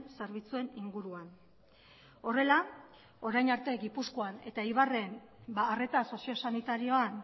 zerbitzuen inguruan horrela orain arte gipuzkoan eta eibarren arreta soziosanitarioan